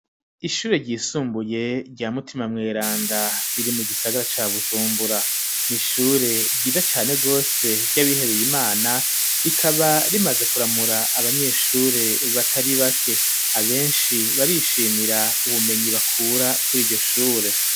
Ishure ryisumbuye rya mutima mweranda riri mu gisagara ca bushumbura nishure ryiza cane rwose ry'abihebeye imana rikaba rimaze kuramura abanyeshure batari bake abenshi barishimira ubumenyi bakura kuri iryo shure.